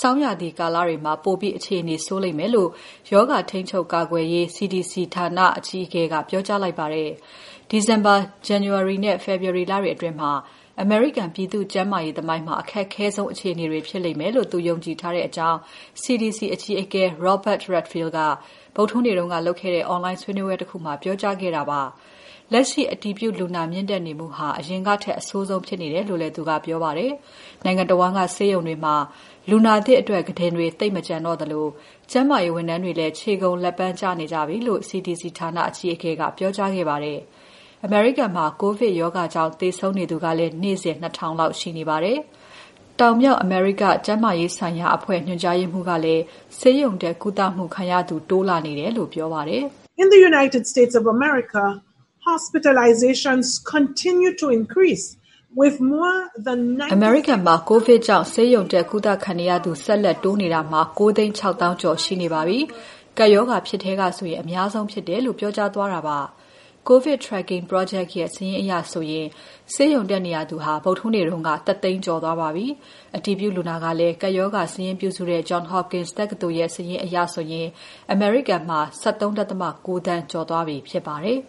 ဆောင်းရာသီလတွေမှာ ပိုပြီး အခြေအနေဆိုးလိမ့်မယ်လို့ ရောဂါ ထိန်းချုပ် ကာကွယ်ရေးအဖွဲ့ CDC အကြီးအကဲက ပြောကြားလိုက်ပါတယ်။ ဒီဇင်ဘာ၊ ဇန်နဝါရီနဲ့ ဖေဖော်ဝါရီလတွေအတွင်း အမေရိကန်ပြည်သူ့ကျန်းမာရေးသမိုင်းမှာ အခက်ခဲဆုံး အခြေအနေတွေဖြစ်လိမ့်မယ်လို့ သူယုံကြည်ထားကြောင်း CDC အကြီးအကဲ Robert Redfield က ဗုဒ္ဓဟူးနေ့က လုပ်ခဲ့တဲ့ Online ဆွေးနွေးပွဲတခုမှာ ပြောကြားခဲ့ပါတယ်။ လက်ရှိ အတည်ပြုလူနာမြင့်တက်နေမှုဟာ အရင်ကထက် အဆိုးဆုံးဖြစ်နေတယ်လို့ သူကပြောပါတယ်။ နိုင်ငံတဝန်းက ဆေးရုံတွေမှာ လူနာသစ်အတွက် ကုတင်တွေ သိပ်မကျန်တော့သလို ကျန်းမာရေးဝန်ထမ်းတွေလည်း ခြေကုန်လက်ပန်းကျနေကြပြီလို့ CDC ဌာန အကြီးအကဲက ပြောကြားခဲ့ပါတယ်။ အမေရိကန်မှာ ကိုဗစ်ရောဂါကြောင့် သေဆုံးနေသူကလည်း နေ့စဉ် ၂,၀၀၀ လောက်ရှိနေပါတယ်။ တောင်၊ မြောက် အမေရိကန်ကျန်းမာရေးဆိုင်ရာ အဖွဲ့ညွှန်ကြားရေးမှူး Carissa Etienne ကလည်း ဆေးရုံတက်ကုသမှုခံရသူ တိုးလာနေတယ်လို့ပြောပါတယ်။ "အမေရိကန်မှာ ကိုဗစ်ကြောင့် ဆေးရုံတက်ကုသခံနေရသူ ဆက်လက်တိုးနေတာ ၉၆၀,၀၀၀ ကျော်ရှိနေပါပြီ။ ကပ်ရောဂါဖြစ်ထဲကဆိုရင် အများဆုံးဖြစ်တယ်။" လို့ ပြောပါတယ်။ COVID Tracking project ရဲ့ စာရင်းအရဆိုရင် ဆေးရုံတက်နေရသူအရေအတွက်ဟာ ဗုဒ္ဓဟူးနေ့က ၁၀၀,၀၀၀ ကျော်သွားပါပြီ။ အတည်ပြုလူနာကလည်း ကပ်ရောဂါ စာရင်းပြုစုနေတဲ့ Johns Hopkins တက္ကသိုလ်စာရင်းအရ အမေရိကန်မှာ ၁၃.၉ သန်း ကျော်သွားပြီဖြစ်ပါတယ်။